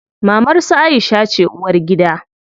Mamar su Aisha ce uwargida.